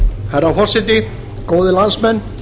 herra forseti góðir landsmenn